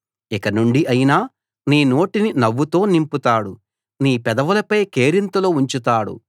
ఇక నుండి ఆయన నీ నోటిని నవ్వుతో నింపుతాడు నీ పెదవులపై కేరింతలు ఉంచుతాడు